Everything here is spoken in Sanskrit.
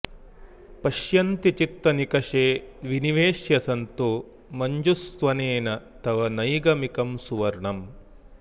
पश्यन्ति चित्तनिकषे विनिवेश्य सन्तो मञ्जुस्वनेन तव नैगमिकं सुवर्णम्